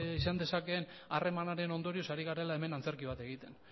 izan dezakeen harremanaren ondorioz ari garela hemen antzerki bat egiten